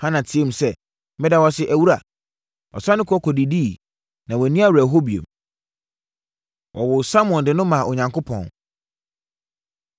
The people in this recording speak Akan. Hana teaam sɛ, “Meda wo ase, awura!” Ɔsane kɔ kɔdidiiɛ, na wanni awerɛhoɔ bio. Wɔwoo Samuel De No Maa Onyankopɔn